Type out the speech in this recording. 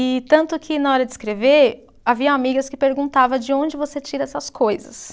E tanto que na hora de escrever, haviam amigas que perguntava de onde você tira essas coisas.